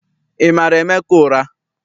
Ị mara Emeka ụra?